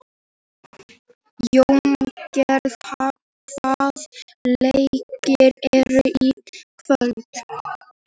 Jóngeir, hvaða leikir eru í kvöld?